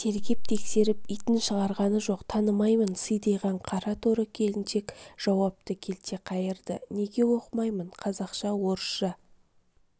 тергеп-тексеріп итін шығарғаны жоқ танымаймын сидиған қара торы келіншек жауапты келте қайырды неге оқымаймын қазақша-орысша